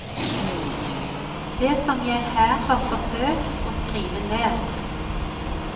Det som jeg her har forsøkt å skrive ned.